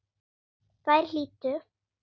Þær hlýddu.